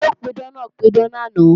Olùpidán náà ń pidán lánàá